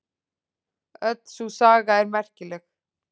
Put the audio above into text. Öll sú saga er merkileg.